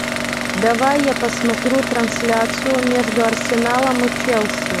давай я посмотрю трансляцию между арсеналом и челси